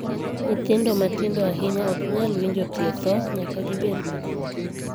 Nyithindo matindo ahinya ok nyal winjo tie thoo nyaka gibed madongo.